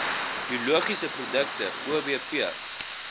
biologiese produkte obp